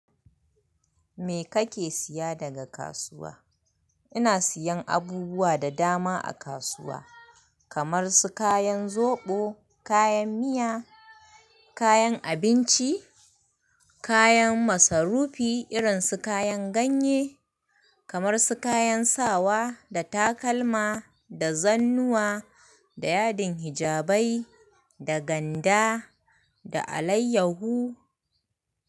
Me kake siya daga kasuwa? Ina siyan abubuwa da dama a kasuwa kamar su kayan zoɓo, kayan miya, kayan abinci, kayan masarufi irin su kayan ganye kamar su kayan sawa da takalma da zannuwa da yadin hijabai da ganda da alayyahu.